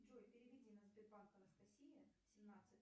джой переведи на сбербанк анастасия семнадцать